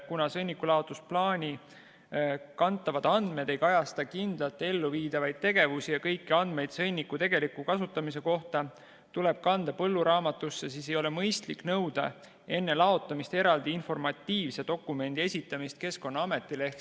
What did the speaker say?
Kuna sõnnikulaotusplaani kantavad andmed ei kajasta kindlalt elluviidavaid tegevusi ja kõik andmed sõnniku tegeliku kasutamise kohta tuleb kanda põlluraamatusse, siis ei ole mõistlik nõuda enne laotamist eraldi informatiivse dokumendi esitamist Keskkonnaametile.